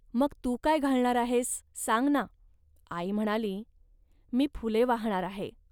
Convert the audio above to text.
."मग तू काय घालणार आहेस, सांग ना. आई म्हणाली, "मी फुले वाहणार आहे